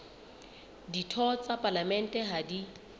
ditho tsa palamente ha di